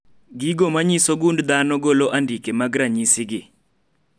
. Gigo manyiso gund dhano golo andike mag ranyisi gi